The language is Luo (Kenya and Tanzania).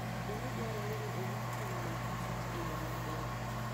Bende dwarore ni orit tong' magkich e yo maber.